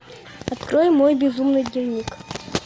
открой мой безумный дневник